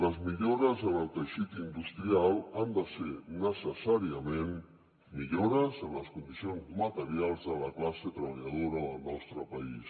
les millores en el teixit industrial han de ser necessàriament millores en les condicions materials de la classe treballadora del nostre país